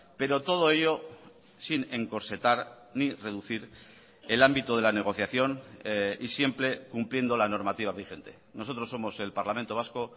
pero todo ello sin encorsetar ni reducir el ámbito de la negociación y siempre cumpliendo la normativa vigente nosotros somos el parlamento vasco